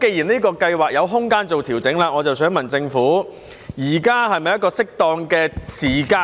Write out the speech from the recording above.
既然這項計劃有調整的空間，我想問政府，現在是否適當的時間